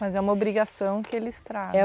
Mas é uma obrigação que eles